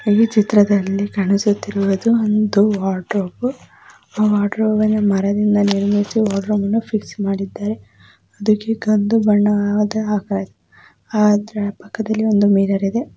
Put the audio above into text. ಈ ಚಿತ್ರದಲ್ಲಿ ಕಾಣಿಸುತ್ತಿರುವುದು ಒಂದು ವಾರ್ಡ್ರೋಬು ಆ ವಾರ್ಡ್ರೋಬನ್ನು ಮರದಿಂದ ನಿರ್ಮಿಸಿ ವಾರ್ಡರೋಬನ್ನು ಫಿಕ್ಸ್ ಮಾಡಿದ್ದಾರೆ. ಅದುಕ್ಕೆ ಕಂದು ಬಣ್ಣದಾ ಅದರ ಪಕ್ಕದಲ್ಲಿ ಒಂದು ಮಿರರ್ ಇದೆ.